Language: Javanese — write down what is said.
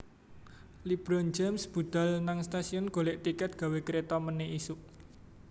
LeBron James budhal nang stasiun golek tiket gawe kreta mene isuk